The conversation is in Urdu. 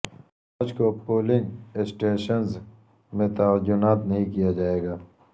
فوج کو پولنگ سٹیشنز میں تعینات نہیں کیا جائے گا